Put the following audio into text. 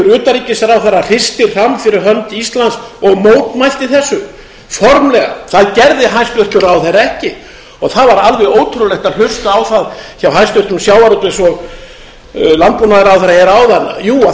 utanríkisráðherra hristi hramm fyrir hönd íslands og mótmælti þessu formlega það gerði hæstvirtur ráðherra ekki og það var alveg ótrúlegt að hlusta á það hjá hæstvirtum sjávarútvegs og landbúnaðarráðherra hér áðan jú